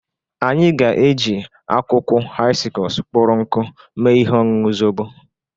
Anyị ga-eji akwụkwụ haịskọs kpụrụ nkụ mee ihe ọñụñụ zobo.